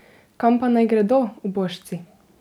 Kam pa naj gredo, ubožci?